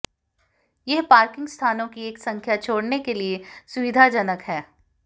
यह पार्किंग स्थानों की एक संख्या छोड़ने के लिए सुविधाजनक है